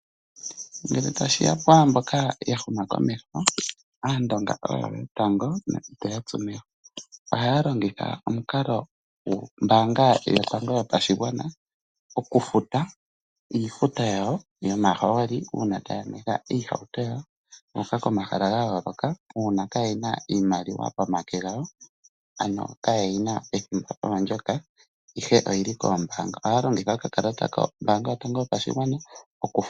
Ngele tashiya pwaamboka ya huma komeho aandonga oyo yotango ohaya longitha omukalo gwombaanga yotango yopashigwana okufuta oofuto dhawo dho mahooli uuna taya nwetha oohauto komahala ga yooloka uuna kayena iimaliwa pomake gawo ,ano kayeyina pethimbo ndoka ihe oyili koombaanga. Ohaya longitha okakalata kombaanga yotango yopashigwana okufuta.